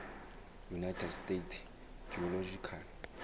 united states geological